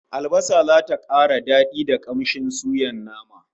Albasa zata kara dadi da kamshin suyan naman